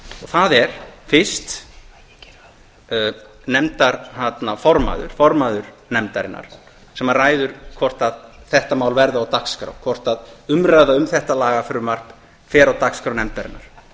það er fyrst nefndarformaður formaður nefndarinnar sem ræður hvort þetta mál verði á dagskrá hvort umræða um þetta lagafrumvarp fer á dagskrá nefndarinnar